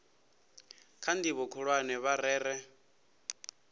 kha ndivho khulwane vha rere